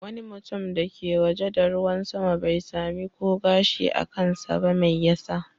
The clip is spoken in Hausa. Wani mutum da ke waje da ruwan sama bai samu ko gashi a kansa ba. Me yasa?